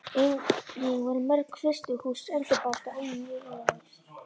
Einnig voru mörg frystihús endurbætt og önnur ný reist.